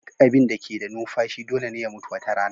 Duk abin da ke da numfashi dole ne ya mutu wata rana